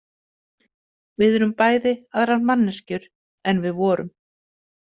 Við erum bæði aðrar manneskjur en við vorum.